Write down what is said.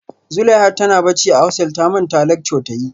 Zuleihat tana bacci a hostel ta manta lecture ta yi